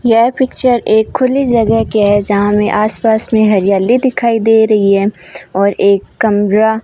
यह पिक्चर एक खुली जगह की है जहां में आसपास में हरियाली दिखाई दे रही है और एक कमरा --